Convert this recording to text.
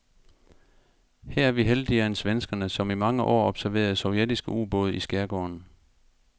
Her er vi heldigere end svenskerne, som i mange år observerede sovjetiske ubåde i skærgården.